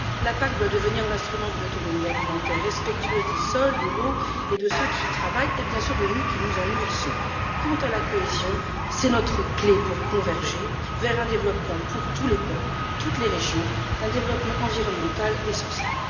La PAC doit devenir l'instrument d'une autonomie alimentaire respectueuse des sols, de l'eau et de ceux qui y travaillent, et bien sûr de nous qui nous en nourrissons. Quant à la cohésion, c'est notre clé pour converger vers un développement pour tous les peuples, toutes les régions, un développement environnemental et social.